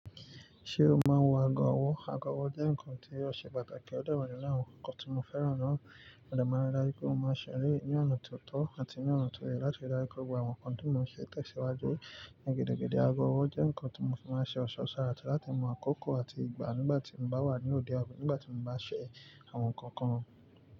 Ṣé o máa ń wọ ago ọwọ́? Ago ọwọ́ jẹ́ nǹkan tí ó ṣe pàtàkì ọ̀de wa ninu àwọn nǹkan tí mo fẹ́ràn náà. Òdọ̀ mi dára pé mo máa ń ṣeré ní ọ̀nà tó tọ́ àti ní ọ̀nà tó yẹ láti dára pẹ̀lú àwọn nǹkan tí mò ń ṣe tẹ̀síwájú ní gidi gidi. Ago ọwọ́ jẹ́ nǹkan tí mo fi máa ń ṣe ọ̀ṣọ́ ṣàrà láti mọ àkókò àti ìgbà nígbà tí mo bá wà nínú òde àbí nígbà tí mo bá ṣẹ̀ àwọn nǹkan kan.